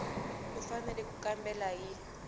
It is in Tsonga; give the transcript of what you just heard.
u fanele ku kambela hi